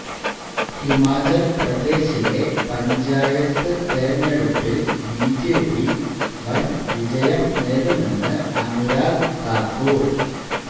ഹിമാചൽപ്രദേശിലെ പഞ്ചായത്ത് തെരഞ്ഞടുപ്പിൽ ബിജെപി വൻ വിജയം നേടുമെന്ന് അനുരാഗ് താക്കൂർ